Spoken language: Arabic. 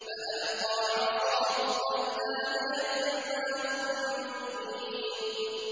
فَأَلْقَىٰ عَصَاهُ فَإِذَا هِيَ ثُعْبَانٌ مُّبِينٌ